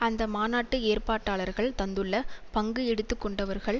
அந்த மாநாட்டு ஏற்பாட்டாளர்கள் தந்துள்ள பங்கு எடுத்துக்கொண்டவர்கள்